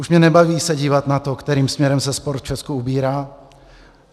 Už mě nebaví se dívat na to, kterým směrem se sport v Česku ubírá.